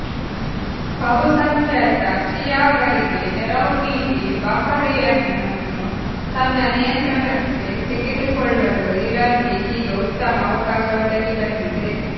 ಬಹುಸಂಖ್ಯಾತ ಷಿಯಾಗಳಿಗೆ ನೆರವು ನೀಡಿ ಬಹರೇನನ್ನು ತನ್ನ ನಿಯಂತ್ರಣಕ್ಕೆ ತೆಗೆದುಕೊಳ್ಳಲು ಇರಾನ್ಗೆ ಇದೀಗ ಉತ್ತಮ ಅವಕಾಶ ಒದಗಿ ಬಂದಿದೆ